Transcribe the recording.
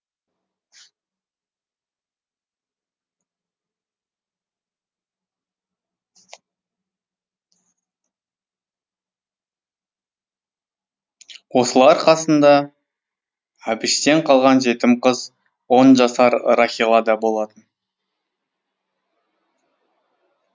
осылар қасында әбіштен қалған жетім қыз он жасар рахила да болатын